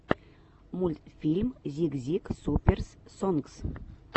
мультфильм зик зик суперс сонгс